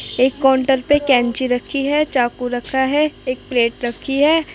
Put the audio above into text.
एक काउन्टर पे कैंची रखी है चाकू रखा है एक प्लेट रखी है |